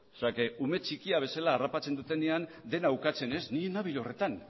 ume txikia bezala harrapatzen dutenean dena ukatzen ez ni ez nabil horretan